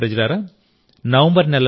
నా ప్రియమైన దేశప్రజలారా